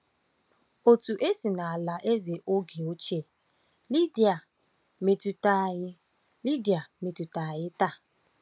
Otu esi n’alaeze oge ochie Lidia metụta anyị Lidia metụta anyị taa.